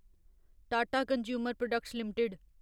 Tata consumer products limited